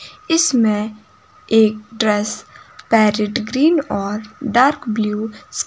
इसमें एक dress parrot green और डार्क ब्लू --